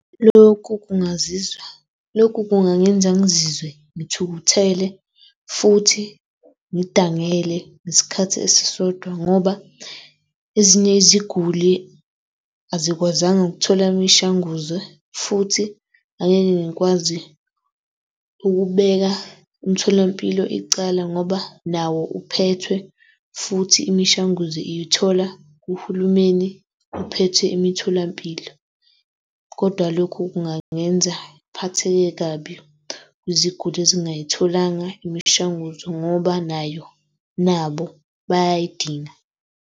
Lokhu kungazizwa, lokhu kungenzeka ngizizwe ngithukuthele futhi ngidangele ngesikhathi esisodwa ngoba ezinye iziguli azikwazanga ukuthola imishanguzo futhi angeke ngikwazi ukubeka umtholampilo icala ngoba nawo uphethwe futhi imishanguzo iyithola kuhulumeni ophethe imitholampilo. Kodwa lokhu kungangenza ngiphatheke kabi kuziguli ezingayitholanga imishanguzo ngoba nayo, nabo bayayidinga.